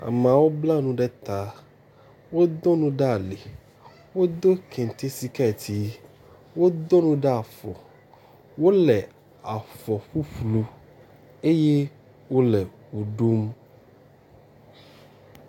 Amewo bla nu ɖe eta. Wodo nu ɖe ali wodo kente siketi. Wodo nu ɖe afɔ. Wo le afɔ ƒuƒlu eye o le mo ɖom.